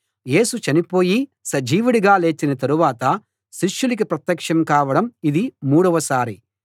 యేసు చనిపోయి సజీవుడిగా లేచిన తరవాత శిష్యులకి ప్రత్యక్షం కావడం ఇది మూడోసారి